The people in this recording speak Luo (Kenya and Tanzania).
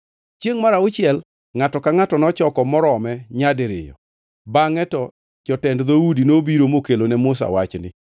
Chiengʼ mar auchiel, ngʼato ka ngʼato nochoko morome nyadiriyo, bangʼe to jotend dhoudi nobiro mokelo ne Musa wachni.